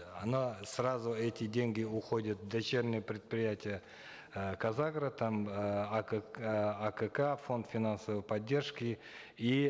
сразу эти деньги уходят в дочерние предприятия э казагро там э э акк фонд финансовой поддержки и